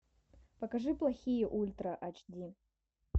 покажи плохие ультра ач ди